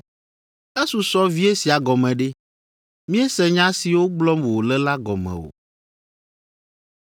‘Esusɔ vie sia gɔme ɖe?’ Míese nya siwo gblɔm wòle la gɔme o.”